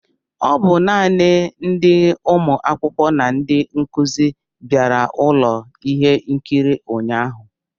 Ọ bụ naanị ndi ụmụ akwụkwọ na ndị nkuzi bịara ụlọ ihe nkiri ụnyahụ